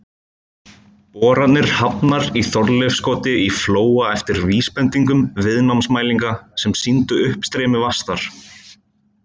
Boranir hafnar í Þorleifskoti í Flóa eftir vísbendingum viðnámsmælinga sem sýndu uppstreymi vatns þar.